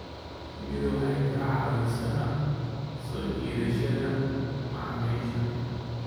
Shinnidu waxay ka caawisaa soo jiidashada macaamiisha.